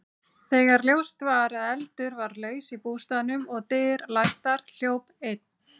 Þegar ljóst var að eldur var laus í bústaðnum og dyr læstar, hljóp einn